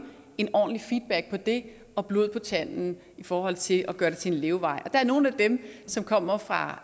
en ordentlig feedback på det og blod på tanden i forhold til at gøre det til en levevej der er nogle af dem som kommer fra